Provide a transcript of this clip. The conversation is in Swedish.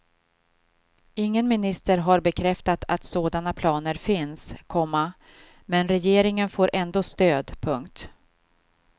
Ingen minister har bekräftat att sådana planer finns, komma men regeringen får ändå stöd. punkt